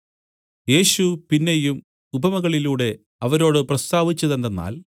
യേശു പിന്നെയും ഉപമകളിലൂടെ അവരോട് പ്രസ്താവിച്ചതെന്തെന്നാൽ